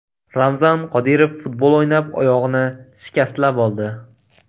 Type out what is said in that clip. Ramzan Qodirov futbol o‘ynab, oyog‘ini shikastlab oldi.